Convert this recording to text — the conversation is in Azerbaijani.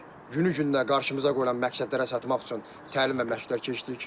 Günü gündən qarşımıza qoyulan məqsədlərə çatmaq üçün təlim və məşqlər keçdik.